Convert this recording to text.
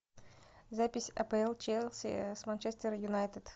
запись апл челси с манчестер юнайтед